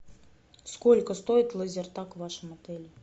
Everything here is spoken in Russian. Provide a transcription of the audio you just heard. сколько стоит лазертаг в вашем отеле